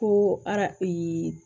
Ko ara ee